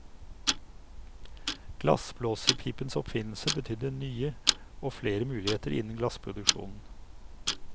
Glassblåserpipens oppfinnelse betydde nye og flere muligheter innen glassproduksjonen.